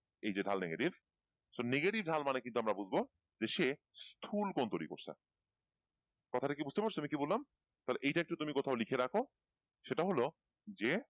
এই যে ঢাল negativeso negative ঢাল মানে কিন্তু আমরা বুঝবো যে সে স্থূলকোণ তৈরি করছে কথাটা কি বুঝতে পারছ আমি কি বললাম? তাহলে এটা একটু তুমি কোথাও লিখে রাখো সেটা হলো যে,